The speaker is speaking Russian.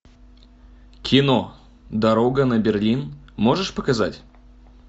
кино дорога на берлин можешь показать